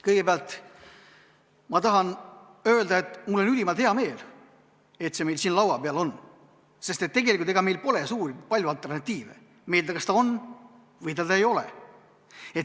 Kõigepealt tahan öelda, et mul on ülimalt hea meel, et see meil siin laua peal on, sest ega meil polegi palju alternatiive: meil kas see on või seda ei ole.